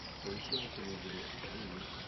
поищи на телевизоре живи